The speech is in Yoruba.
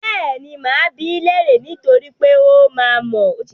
Bẹ́ẹ̀ni, máa bi í léèrè niítorí pé ó máa mọ̀ ọ́n.